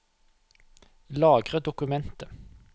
Lagre dokumentet